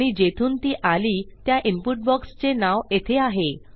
आणि जेथून ती आली त्या इनपुट बॉक्स चे नाव येथे आहे